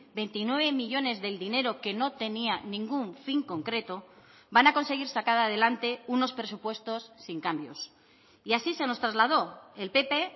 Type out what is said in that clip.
veintinueve millónes del dinero que no tenía ningún fin concreto van a conseguir sacar adelante unos presupuestos sin cambios y así se nos trasladó el pp